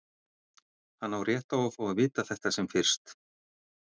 Hann á rétt á að fá að vita þetta sem fyrst.